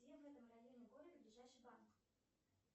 где в этом районе города ближайший банк